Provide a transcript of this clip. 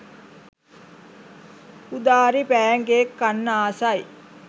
Udari pancake කන්න ආසයි